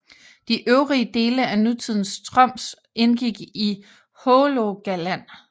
De øvrige dele af nutidens Troms indgik i Hålogaland